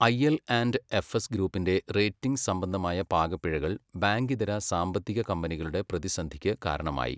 ഐഎൽ and FS ഗ്രൂപ്പിന്റെ ratings സംബന്ധമായ പാകപ്പിഴകൾ ബാങ്കിതര സാമ്പത്തിക കമ്പനികളുടെ പ്രതിസന്ധിയ്ക്ക് കാരണമായി.